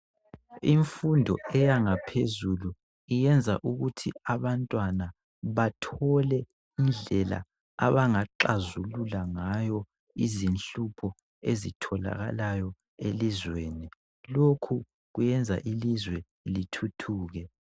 Imfundo eyangaphezulu iyenza ukuthi abantwana bathole indlela abangaxhazulula ngayo izinhlupho ezitholakalayo elizweni lokho kuyenza ilizwe lithuthuke .